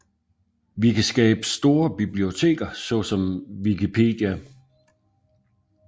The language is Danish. Vi kan skabe store biblioteker såsom Wikipedia